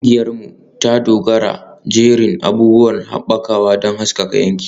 Ƙungiyarmu ta dogara da jerin abubuwan haɓakawa don haskaka yankin.